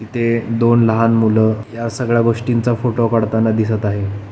इथे दोन लहान मूल या सगळ्या गोष्टींचा फोटो काढताना दिसत आहे.